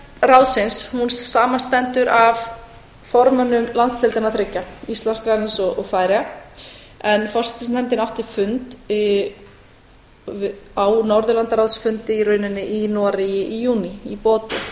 ráðsins samanstendur af formönnum landsdeildanna þriggja íslands grænlands og færeyja en forsætisnefndin átti fund á norðurlandaráðsfundi í rauninni í noregi í júní í bodö